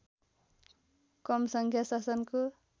कम सङ्ख्या शासनको